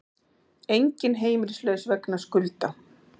Enginn heimilislaus vegna skulda